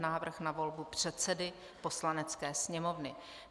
Návrh na volbu předsedy Poslanecké sněmovny